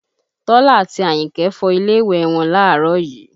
Tọ́lá àti Àyìnkẹ́ fọ ilé ìwẹ̀ wọn láàárọ̀ yìí